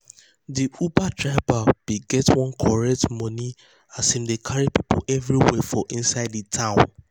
de uber driver bin get one correct money as hin dey carry people everywhere for inside de town.